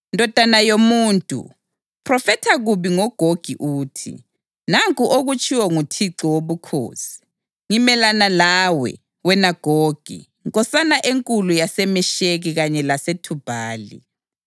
“Ndodana yomuntu, phrofetha kubi ngoGogi uthi, ‘Nanku okutshiwo nguThixo Wobukhosi: Ngimelana lawe, wena Gogi, nkosana enkulu yaseMesheki kanye laseThubhali.